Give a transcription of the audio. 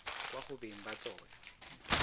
kwa go beng ba tsona